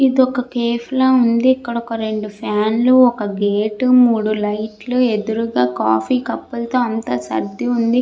ఇదొక కేఫ్ లా ఉంది. ఇక్కడ ఒక రెండు ఫ్యాన్ లు ఒక గేట్ మూడు లైట్ లు ఎదురుగా కాఫీ కప్ లతో అంతా సర్ది ఉంది.